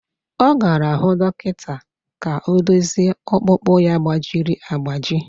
Ọ gara hụ dọkịta ka ọ dozie ọkpụkpụ ya gbajiri agbaji